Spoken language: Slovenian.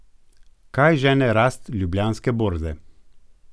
Kaj žene rast ljubljanske borze?